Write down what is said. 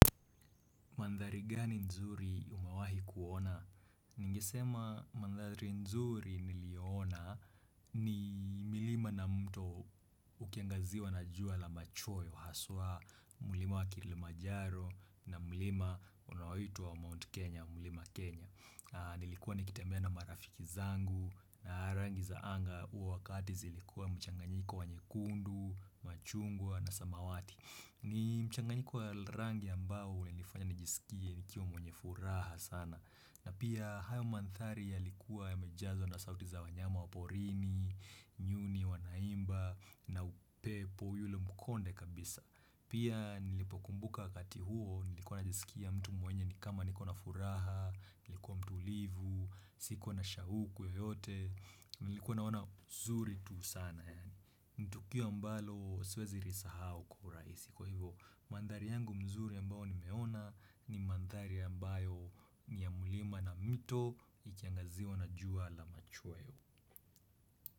Mandhari gani nzuri umewahi kuona? Ningesema mandhari nzuri niliyoona ni milima na mto ukiangaziwa na jua la machoyo, haswa mlima wa kilimanjaro na mlima unaoitwa Mount Kenya, mlima Kenya. Nilikuwa nikitembea na marafiki zangu na rangi za anga huo wakati zilikuwa mchanganyiko wa nyekundu, machungwa na samawati. Ni mchanganyiko wa rangi ambao ulinifanya nijisikie nikiwa mwenye furaha sana na pia hayo mandhari yalikuwa yamejazwa na sauti za wanyama wa porini, nyuni wanaimba na upepo yule mkonde kabisa pia nilipokumbuka wakati huo nilikuwa najisikia mtu mwenye ni kama niko na furaha, nilikuwa mtulivu, sikuwa na shauku yoyote. Nilikuwa naona zuri tu sana yaani ni tukio ambalo siwezi lisahau kwa urahisi kwa hivyo mandhari yangu mzuri ambayo nimeona ni mandhari ambayo ni ya mlima na mito ikiangaziwa na jua la machweo.